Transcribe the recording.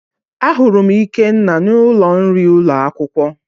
Ahụrụ m ikenna n'ụlọ nri ụlọ akwụkwọ